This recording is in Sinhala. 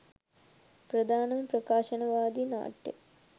ප්‍රධානම ප්‍රකාශනවාදී නාට්‍ය